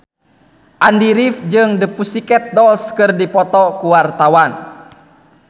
Andy rif jeung The Pussycat Dolls keur dipoto ku wartawan